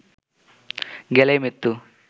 গেলেই মৃত্যু